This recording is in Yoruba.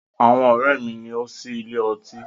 Àwọn ọ̀rẹ́ mi ni ó ń sí ilé ọtí.